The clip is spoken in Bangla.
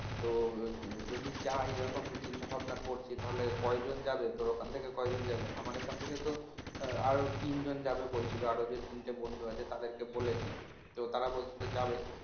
তো যদি যাই এরকম চিন্তাভাবনা করছি তাহলে কয়জন যাবে তোর ওখান থেকে কজন যাবে আমারএখান থেকে তো আরও তিনজন যাবে বলছিল আরও যে তিনটে বন্ধু আছে তাদেরকে বলেছি তো তারা বলছিলো যাবে